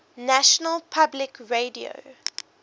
national public radio